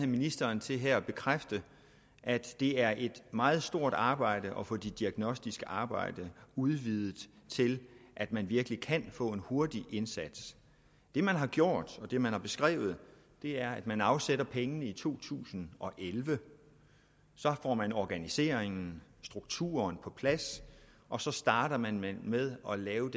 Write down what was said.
ministeren til at bekræfte at det er et meget stort arbejde at få det diagnostiske arbejde udvidet til at man virkelig kan få en hurtig indsats det man har gjort og det man har beskrevet er at man afsætter pengene i to tusind og elleve så får man organiseringen strukturen på plads og så starter man med at lave